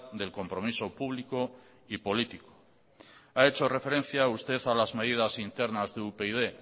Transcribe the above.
del compromiso público y político ha hecho referencia usted a las medidas internas de upyd